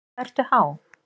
Hvað ertu há?